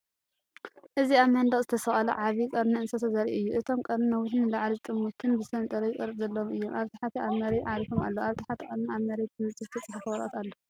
እዚ ኣብ መንደቕ ዝተሰቕለ ዓቢ ቀርኒ እንስሳ ዘርኢ እዩ። እቶም ቀርኒ ነዊሕን ንላዕሊ ዝጠመቱን ብሰንጠረዥ ቅርጺ ዘለዎም እዮም። ኣብ ታሕቲ ኣብ መሬት ዓሪፎም ኣለዉ፣ ኣብ ትሕቲ ቀርኒ ኣብ መሬት ብንጹር ዝተጻሕፈ ወረቐት ኣሎ።